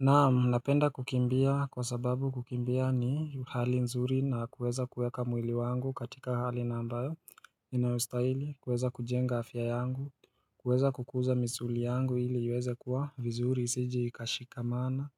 Naam napenda kukimbia kwa sababu kukimbia ni hali nzuri na kuweza kueka mwili wangu katika hali na ambayo inayostahili kuweza kujenga afya yangu kuweza kukuza misuli yangu ili uweze kuwa vizuri isije ikashika mana